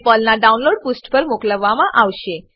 તમને પર્લનાં ડાઉનલોડ પુષ્ઠ પર મોકલવામાં આવશે